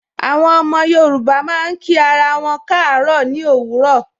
Àwọn ọmọ Yorùbá máa ń kí ara wọn kaaro ni òwúrọ̀.